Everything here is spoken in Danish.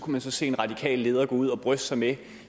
man så se en radikal leder gå ud og bryste sig med